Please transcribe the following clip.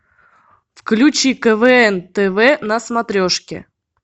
включи квн тв на смотрешки